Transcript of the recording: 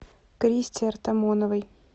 кристе артамоновой